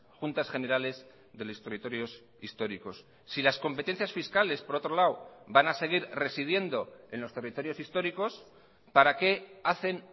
juntas generales de los territorios históricos si las competencias fiscales por otro lado van a seguir residiendo en los territorios históricos para qué hacen